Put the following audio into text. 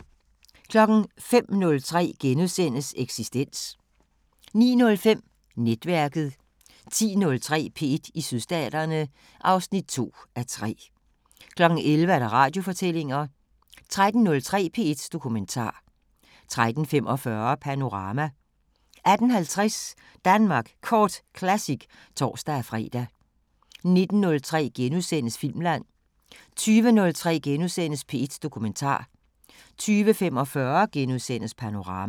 05:03: Eksistens * 09:05: Netværket 10:03: P1 i Sydstaterne (2:3) 11:00: Radiofortællinger 13:03: P1 Dokumentar 13:45: Panorama 18:50: Danmark Kort Classic (tor-fre) 19:03: Filmland * 20:03: P1 Dokumentar * 20:45: Panorama *